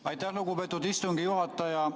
Aitäh, lugupeetud istungi juhataja!